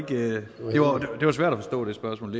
det spørgsmål